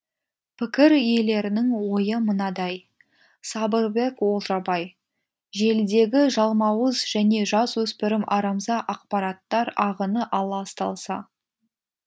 пікір иелерінің ойы мынадай сабырбек олжабай желідегі жалмауыз және жасөспірім арамза ақпараттар ағыны аласталса